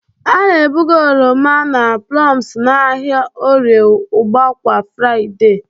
A na-ebuga oroma na plums n'ahịa Orie ugba kwa Fraịde.